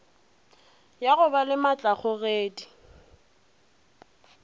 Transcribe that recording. ya go ba le maatlakgogedi